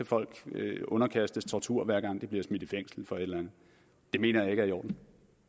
folk blive underkastet tortur hver gang de bliver smidt i fængsel for et eller andet det mener jeg ikke er i orden